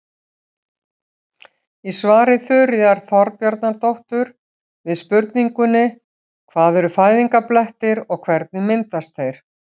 Í svari Þuríðar Þorbjarnardóttur við spurningunni Hvað eru fæðingarblettir og hvernig myndast þeir?